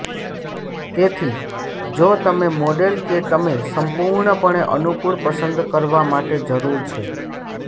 તેથી જો તમે મોડેલ કે તમે સંપૂર્ણપણે અનુકૂળ પસંદ કરવા માટે જરૂર છે